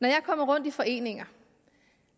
jeg kommer rundt i foreninger